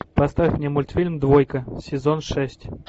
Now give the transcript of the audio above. поставь мне мультфильм двойка сезон шесть